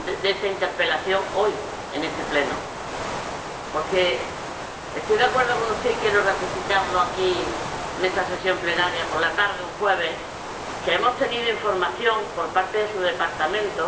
esta interpelación hoy, en este Pleno. Porque estoy de acuerdo con usted y quiero ratificarle aquí, en esta sesión plenaria por la tarde de un jueves, que hemos tenido información por parte de su departamento